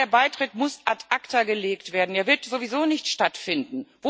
Ja, der Beitritt muss ad acta gelegt werden, er wird sowieso nicht stattfinden.